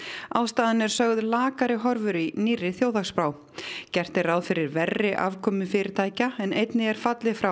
ástæðan er sögð lakari horfur í nýrri þjóðhagsspá gert er ráð fyrir verri afkomu fyrirtækja en einnig er fallið frá